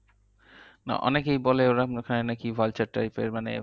না অনেকেই বলে ওরা ওখানে নাকি vulture type এর মানে